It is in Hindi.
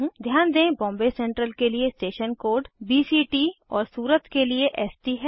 ध्यान दें बॉम्बे सेंट्रल के लिए स्टेशन कोड बीसीटी और सूरत के लिए एसटी है